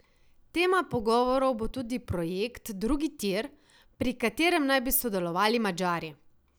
Tema pogovorov bo tudi projekt drugi tir, pri katerem naj bi sodelovali Madžari.